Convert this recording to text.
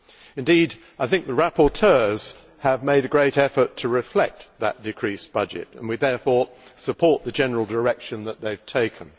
Indeed, I think the rapporteurs have made a great effort to reflect that decreased budget, and we therefore support the general direction that they have taken.